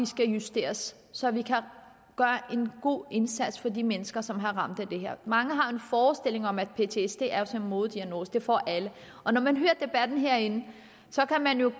skal justeres så vi kan gøre en god indsats for de mennesker som er ramt af det her mange har en forestilling om at ptsd er en modediagnose at den får alle og når man hører debatten herinde kan man jo